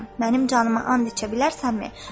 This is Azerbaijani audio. Mənim canıma and içə bilərsənmi?